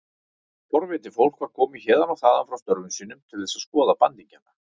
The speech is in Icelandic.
Forvitið fólk var komið héðan og þaðan frá störfum sínum til þess að skoða bandingjana.